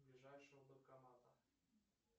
ближайшего банкомата